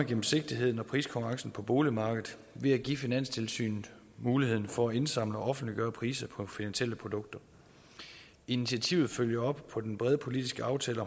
gennemsigtigheden og priskonkurrencen på boligmarkedet ved at give finanstilsynet mulighed for at indsamle og offentliggøre priser på finansielle produkter initiativet følger op på den brede politiske aftale